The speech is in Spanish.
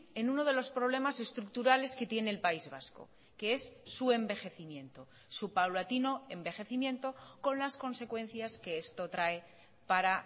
en uno de los problemas estructurales que tiene el país vasco que es su envejecimiento su paulatino envejecimiento con las consecuencias que esto trae para